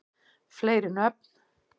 fleiri nöfn